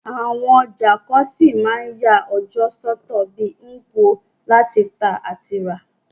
Àwon ọjà kan ṣí ma n ya ọjọ́ sọ́tọ̀ bi Nkwo, láti tà àti rà